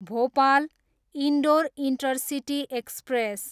Bhopal, Indore intercity express